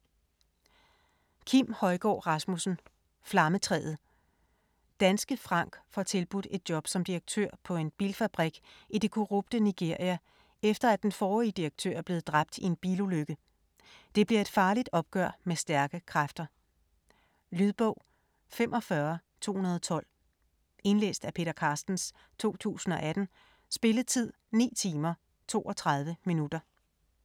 Højgaard Rasmussen, Kim: Flammetræet Danske Frank får tilbudt et job som direktør på en bilfabrik i det korrupte Nigeria, efter at den forrige direktør er blevet dræbt i en bilulykke. Det bliver et farligt opgør med stærke kræfter. Lydbog 45212 Indlæst af Peter Carstens, 2018. Spilletid: 9 timer, 32 minutter.